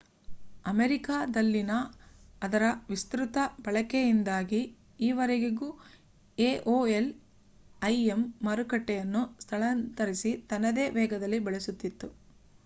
ಅಮೇರಿಕಾದಲ್ಲಿನ ಅದರ ವಿಸ್ತ್ರುತ ಬಳಕೆಯಿಂದಾಗಿ ಈವರೆವರೆಗೂ aol im ಮಾರುಕಟ್ಟೆಯನ್ನು ಸ್ಥಳಾಂತರಿಸಿ ತನ್ನದೇ ವೇಗದಲ್ಲಿ ಬೆಳೆಸುತ್ತಿತ್ತು